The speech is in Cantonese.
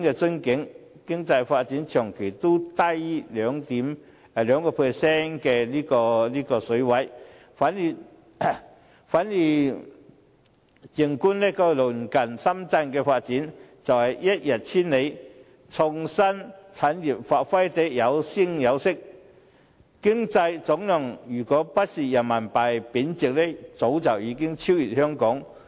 我們的經濟發展長期都低於 2% 的水平；反觀鄰近的深圳，發展更是一日千里，創新產業有聲有色，若非人民幣貶值，經濟總量早已超越香港。